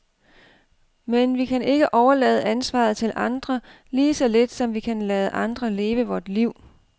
Men vi kan ikke overlade ansvaret til andre, lige så lidt som vi kan lade andre leve vort liv.